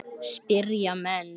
spyrja menn.